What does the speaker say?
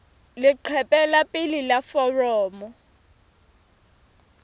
leqephe la pele la foromo